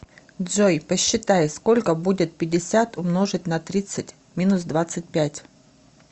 джой посчитай сколько будет пятьдесят умножить на тридцать минус двадцать пять